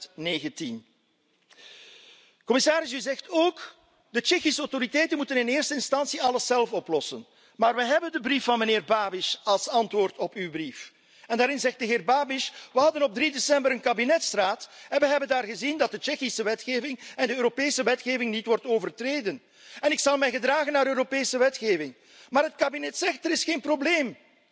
2019? Commissaris, u zegt ook de Tsjechische autoriteiten moet in eerste instantie alles zelf oplossen, maar we hebben de brief van meneer Babiš als antwoord op uw brief en daarin zegt de heer Babiš we hadden op 3 december een kabinetsraad en we hebben daar gezien dat de Tsjechische wetgeving en de Europese wetgeving niet worden overtreden en ik zal mij gedragen naar de Europese wetgeving, maar het kabinet zegt dat er geen probleem is.